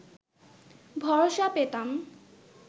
ভরসা পেতাম